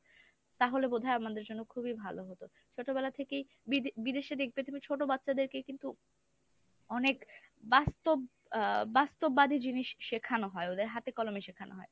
তাহলে বোধহয় আমাদের জন্য খুবই ভালো হতো ছোটবেলা থেকেই বিদেশে দেখবে তুমি ছোট বাচ্চাদেরকে কিন্তু বাস্তব আ বাস্তববাদী জিনিস শেখানো হয় ওদের হাতে কলমে শেখানো হয়।